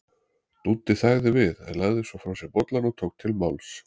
Dúddi þagði við en lagði svo frá sér bollann og tók til máls